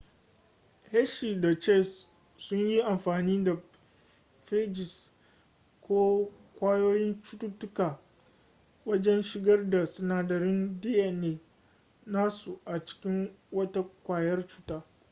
hershey da chase sun yi amfani da phages ko ƙwayoyin cututtuka wajen shigar da sinadarin dna nasu a cikin wata ƙwayar cuta